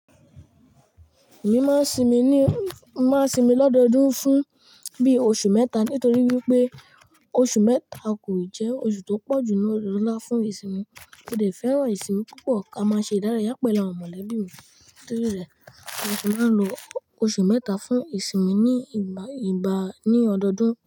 Èmi máa ń sinmi ní, máa ń sinmi lọ́dọọdún fún bí oṣù mẹ́ta nítorí wípé oṣù mẹ́ta kò ì jẹ́ oṣù tó pọ̀ jù lọ ní ọdọọdún láfún ìsinmi, ó dẹ̀ fẹ́ràn ìsinmi púpọ̀ ká máa ṣe ìdárayá pẹ̀lú àwọn mọ̀lẹ́bí mi, nítorí rẹ̀ mo máa ń lo oṣù mẹ́ta fún ìsinmi ní ìgbà, ìgbà ní ọdọọdún.